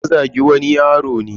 Ya Zagi wani yaro ne.